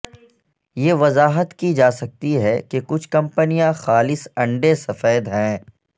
یہ وضاحت کی جا سکتی ہے کہ کچھ کمپنیاں خالص انڈے سفید ہیں